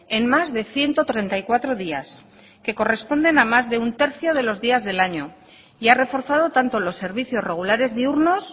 en más de ciento treinta y cuatro días que corresponden a más de un tercio de los días del año y ha reforzado tanto los servicios regulares diurnos